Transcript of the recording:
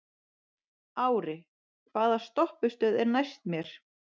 Ári, hvaða stoppistöð er næst mér?